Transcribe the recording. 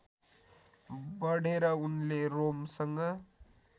बढेर उनले रोमसँग